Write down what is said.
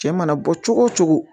Cɛ mana bɔ cogo o cogo